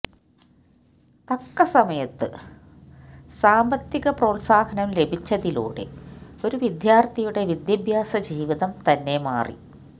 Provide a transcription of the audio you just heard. തക്കസമയത്ത് സാന്പത്തിക പ്രോത്സാഹനം ലഭിച്ചതിലൂടെ ഒരു വിദ്യാര്ത്ഥിയുടെ വിദ്യാഭ്യാസ ജീവിതം തന്നെ മാറി